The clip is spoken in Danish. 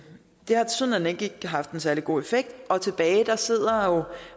har haft en særlig god effekt og tilbage sidder